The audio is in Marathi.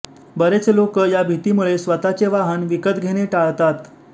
बरेच लोकं या भीतीमुळे स्वतःचे वाहन विकत घेणे टाळतात